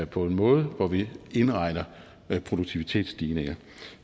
på en måde hvor vi indregner produktivitetsstigninger